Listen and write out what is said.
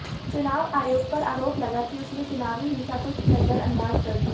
चुनाव आयोग पर आरोप लगा कि उसने चुनावी हिंसा को नजरंदाज कर दिया